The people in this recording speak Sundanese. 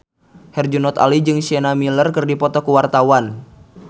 Herjunot Ali jeung Sienna Miller keur dipoto ku wartawan